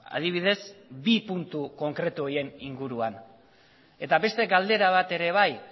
adibidez bi puntu konkretu horien inguruan eta beste galdera bat ere bai